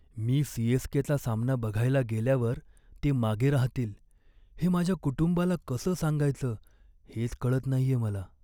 मी सी.एस.के.चा सामना बघायला गेल्यावर ते मागे राहतील, हे माझ्या कुटुंबाला कसं सांगायचं हेच कळत नाहीये मला.